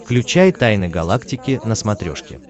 включай тайны галактики на смотрешке